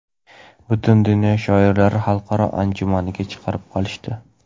butun dunyo shoirlari xalqaro anjumaniga chaqirib qolishdi.